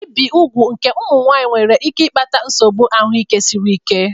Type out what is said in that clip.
Ibi úgwù nke ụmụ nwanyị nwere ike ịkpata nsogbu ahụike siri ike.